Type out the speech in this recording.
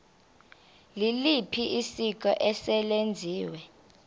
liliphi isiko eselenziwe